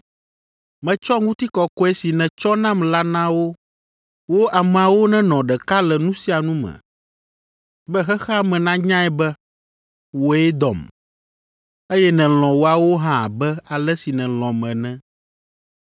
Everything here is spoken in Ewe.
Metsɔ ŋutikɔkɔe si nètsɔ nam la na wo; wo ameawo nenɔ ɖeka le nu sia nu me, be xexea me nanyae be wòe dɔm, eye nèlɔ̃ woawo hã abe ale si nèlɔ̃m ene.